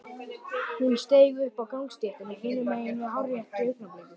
Hún steig upp á gangstéttina hinum megin á hárréttu augnabliki.